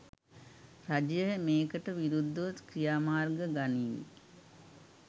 රජය මේකට විරුද්ධව ක්‍රියාමාර්ග ගනීවි.